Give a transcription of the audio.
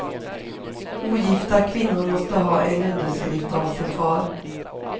Ogifta kvinnor måste ha en underskrift av sin far.